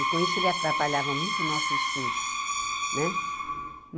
E com isso ele atrapalhava muito o nosso estudo, né?